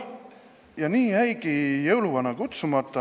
Ja nii jäigi jõuluvana kutsumata.